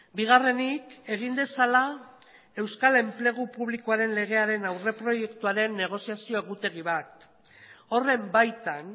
bigarrenik egin dezala euskal enplegu publikoaren legearen aurreproiektuaren negoziazio egutegi bat horren baitan